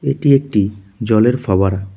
এটি একটি জলের ফাবারা ।